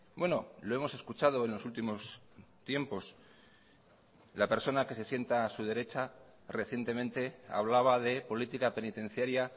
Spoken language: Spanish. bueno lo hemos escuchado en los últimos tiempos la persona que se sienta a su derecha recientemente hablaba de política penitenciaria